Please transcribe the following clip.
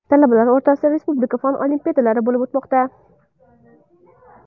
Talabalar o‘rtasida respublika fan olimpiadalari bo‘lib o‘tmoqda.